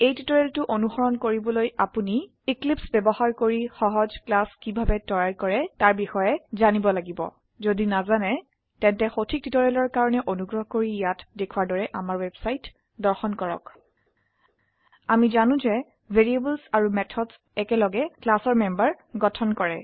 এই টিউটোৰিয়েলটো অনুসৰণ কৰিবলৈ আপোনি এক্লিপছে ব্যবহাৰ কৰি সহজ ক্লাস কিভাবে তৈয়াৰ কৰে তাৰ বিষয়ে জানিব লাগিব যদি নাজানে তেন্তে সঠিক টিউটৰিয়েলৰ কাৰনে অনুগ্ৰহ কৰি ইয়াত দেখোৱাৰ দৰে আমাৰ ৱেবছাইট দৰ্শন কৰক আমি জানো যে ভেৰিয়েবলছ আৰু মেথডছ একেলগে ক্লাসৰ মেম্বাৰ গঠন কৰে